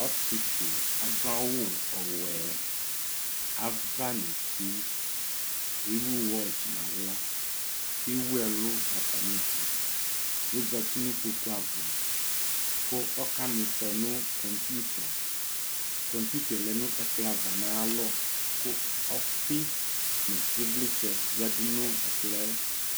Ɔsɩetsʊ adʊ awuwɔɛ ava nʊ ɩtɩ ewʊ ekʊsʊ ɩtɩ nʊ axla kʊ ewʊɛlʊ xafa nʊ ʊdʊ kɔzatɩ nʊ ɩkpokʊava kʊ ɔkamɩfɔ nʊ ɛkʊkpɔɩvlɩ ava kʊ ɔyanʊ ɛkplɔava nʊ ayalɔ kʊ ɔfi nʊ ɩvlɩtsɛ yadʊ nʊ ekplɔɛ